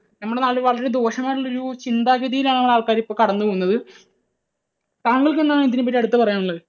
നമ്മുടെ നാട്ടിൽ വളരെ ദോഷം ആയിട്ടുള്ള ഒരു ചിന്താഗതിയിലാണ് ആൾക്കാർ ഇപ്പോൾ കടന്നുപോകുന്നത്. താങ്കൾക്ക് എന്താണ് ഇതിനെപ്പറ്റി അടുത്തത് പറയാനുള്ളത്?